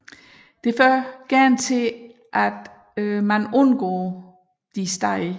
Det fører gerne til undgåelse af stederne